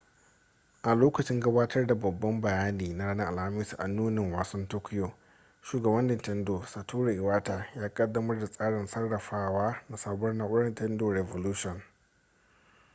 a lokacin gabatar da babban bayani na ranar alhamis a nunin wasan tokyo shugaban nintendo satoru iwata ya kaddamar da tsarin sarrafawa na sabuwar na'urar nintendo re volution